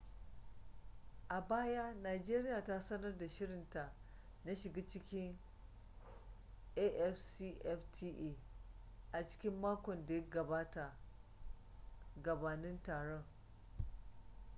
a baya najeriya ta sanar da shirinta na shiga cikin afcfta a cikin makon da ya gabata gabanin taron